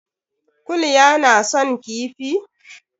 Kulya na son kifi?